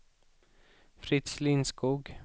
Fritz Lindskog